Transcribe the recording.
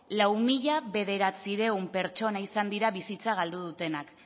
lau mila bederatziehun pertsona izan dira bizitza galdu dutenak